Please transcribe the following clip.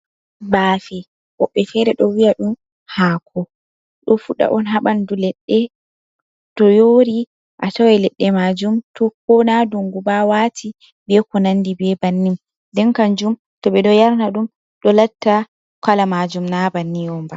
Baafe woɓɓe feere ɗo wi'a ɗum haako, ɗo fuɗa on ha ɓanndu leɗɗe, to yoori a taway leɗɗe maajum to ko naa dunngu ba waati bee kunanndi bee bannin. Nden kanjum to ɓe ɗo yarna ɗum ɗo latta kala maajum naa bannii on ba.